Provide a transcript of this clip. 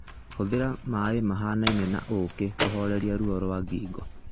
Hũthĩra maĩ mahanaine na ũũkĩ kũhooreria ruo rwa ngingo.